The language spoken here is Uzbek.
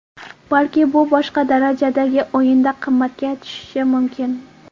Balki bu boshqa darajadagi o‘yinda qimmatga tushishi mumkin.